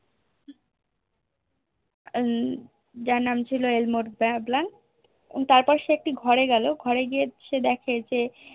উম যার নাম ছিল Elmore blank তারপর সে একটি ঘরে গেলো ঘরে গিয়ে সে দেখে যে